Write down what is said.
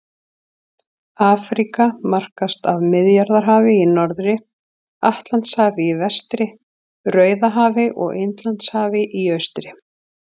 Afríka markast af Miðjarðarhafi í norðri, Atlantshafi í vestri, Rauðahafi og Indlandshafi í austri.